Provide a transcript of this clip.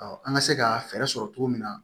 an ka se ka fɛɛrɛ sɔrɔ cogo min na